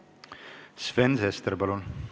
Sven Sester, palun!